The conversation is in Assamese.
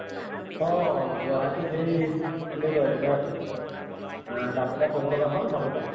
অহ গুৱাহাটীত সেই তেনেকুৱাই কিবা এহ কাম এটাত যাব লগা হʼল মাজতে